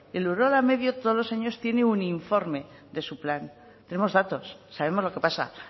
el urola medio todos los años tiene un informe de su plan tenemos datos sabemos lo que pasa